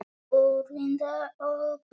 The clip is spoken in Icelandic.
Úrvinda og beygð.